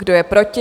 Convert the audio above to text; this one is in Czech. Kdo je proti?